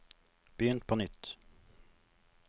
begynn på nytt